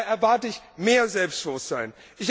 Da erwarte ich mehr Selbstbewusstsein.